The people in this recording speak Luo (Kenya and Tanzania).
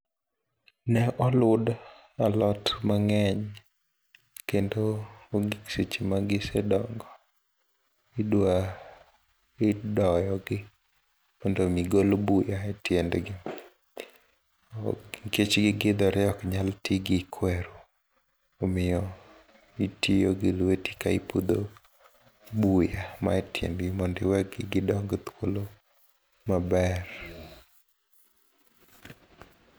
Ne olud alot mang'eny kendo onge seche magisedongo idwa idoyogi mondomi gol buya e tiendgi, nikech gikithore oknyal ti gi kwer omiyo itiyogi lweti ka ipudho buya manie tiendgi mondo iwe gidong thuolo maber.